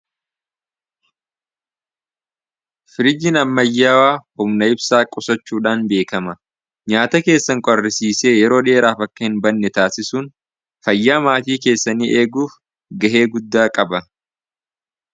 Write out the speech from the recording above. firiji nammayyaawaa homna ibsaa qusachuudhaan beekama nyaata keessan qorrisiisee yeroo dhi'eeraaf akka hin banne taasisuun fayyaa maatii keessanii eeguuf gahee guddaa qaba